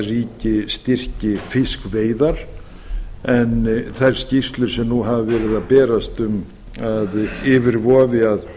ríki styrki fiskveiðar en þær skýrslur sem nú hafa verið að berast um að yfir vofi að